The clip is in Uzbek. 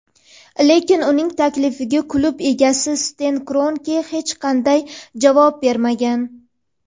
lekin uning taklifiga klub egasi Sten Kronke hech qanday javob bermagan.